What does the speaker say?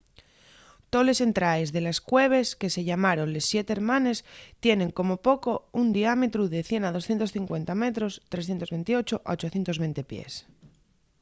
toles entraes de la cueves que se llamaron les siete hermanes” tienen como poco un diámetru de 100 a 250 metros 328 a 820 pies